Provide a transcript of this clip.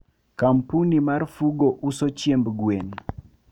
kampuni mar Fugo uso chiemb gwen